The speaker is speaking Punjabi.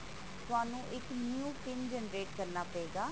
ਤੁਹਾਨੂੰ ਇੱਕ new pin generate ਕਰਨਾ ਪਏਗਾ